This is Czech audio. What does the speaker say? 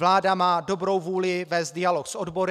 Vláda má dobrou vůli vést dialog s odbory.